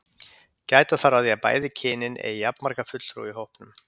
Gæta þarf að því að bæði kynin eigi jafnmarga fulltrúa í hópnum.